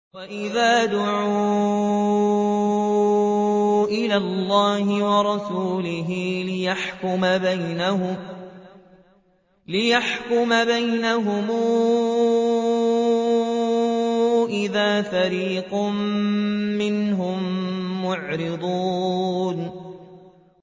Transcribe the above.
وَإِذَا دُعُوا إِلَى اللَّهِ وَرَسُولِهِ لِيَحْكُمَ بَيْنَهُمْ إِذَا فَرِيقٌ مِّنْهُم مُّعْرِضُونَ